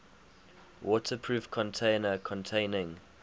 waterproof container containing